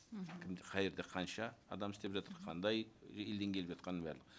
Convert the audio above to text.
мхм кімде қай жерде қанша адам істеп жатыр қандай елден келіп жатқанын бәрін